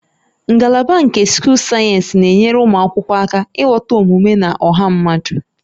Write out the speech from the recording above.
Ngalaba nke Sochal sayensị na-enyere ụmụ akwụkwọ aka ịghọta omume na ọha mmadụ